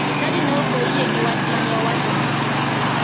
Jochadi ne ok oyie gi wach mene awachonegi.